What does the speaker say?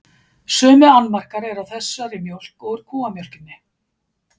Sömu annmarkar eru á þessari mjólk og kúamjólkinni.